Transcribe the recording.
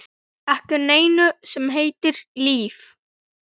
Ekki neinu sem heitir líf.